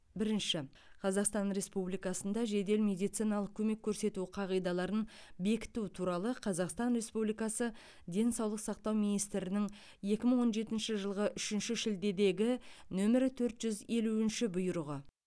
бірінші қазақстан республикасында жедел медициналық көмек көрсету қағидаларын бекіту туралы қазақстан республикасы денсаулық сақтау министрінің екі мың он жетінші жылғы үшінші шілдедегі нөмірі төрт жүз елуінші бұйрығы